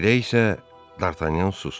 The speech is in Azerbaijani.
Elə isə Dartanyan susdu.